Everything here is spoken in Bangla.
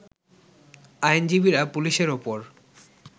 আইনজীবীরা পুলিশের ওপর